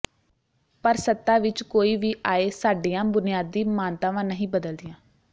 ਪਰ ਸੱਤਾ ਵਿਚ ਕੋਈ ਵੀ ਆਏ ਸਾਡੀਆਂ ਬੁਨਿਆਦੀ ਮਾਨਤਾਵਾਂ ਨਹੀਂ ਬਦਲਦੀਆਂ